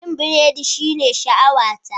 Yin burodi shine sha'awata.